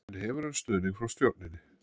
En hefur hann stuðning frá stjórninni?